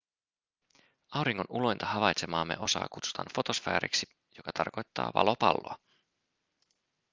auringon ulointa havaitsemaamme osaa kutsutaan fotosfääriksi joka tarkoittaa valopalloa